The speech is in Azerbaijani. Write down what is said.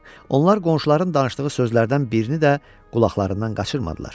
Onlar qonşuların danışdığı sözlərdən birini də qulaqlarından qaçırmadılar.